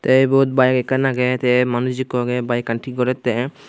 tey ebot bike ekkan agey tey manus ikko agey baikaan thik gorettey.